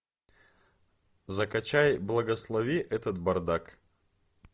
закачай благослови этот бардак